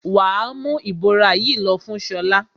Wà á mú ìbora yìí lọ fún Ṣọlá!